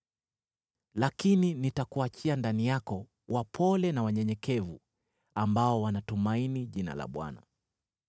Lakini nitakuachia ndani yako wapole na wanyenyekevu, ambao wanatumaini jina la Bwana .